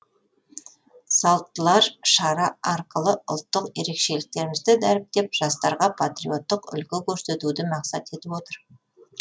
салттылар шара арқылы ұлттық ерекшеліктерімізді дәріптеп жастарға патриоттық үлгі көрсетуді мақсат етіп отыр